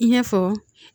I n'a fɔ